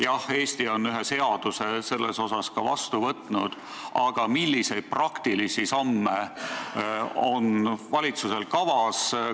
Jah, Eesti on selle kohta ühe seaduse vastu võtnud, aga milliseid praktilisi samme on valitsusel kavas?